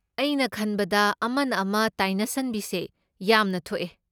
ꯑꯩꯅ ꯈꯟꯕꯗ ꯑꯃꯅ ꯑꯃ ꯇꯥꯏꯅꯁꯟꯕꯤꯁꯦ ꯌꯥꯝꯅ ꯊꯣꯛꯑꯦ꯫